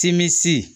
Tinmisi